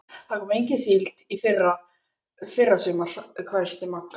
Það kom engin síld í fyrra sumar, hvæsti Magga.